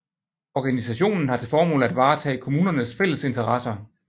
Organisationen har til formål at varetage kommunernes fælles interesser